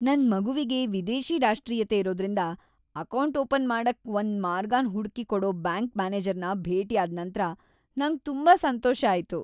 ನನ್ ಮಗುವಿಗೆ ವಿದೇಶಿ ರಾಷ್ಟ್ರೀಯತೆ ಇರೋದ್ರಿಂದ ಅಕೌಂಟ್ ಓಪನ್ ಮಾಡಕ್ಕೆ ಒಂದ್ ಮಾರ್ಗನ್ ಹುಡ್ಕಿ ಕೊಡೊ ಬ್ಯಾಂಕ್ ಮ್ಯಾನೇಜರ್ನ ಭೇಟಿಯಾದ್ ನಂತ್ರ ನಂಗ್ ತುಂಬಾ ಸಂತೋಷ ಆಯ್ತು.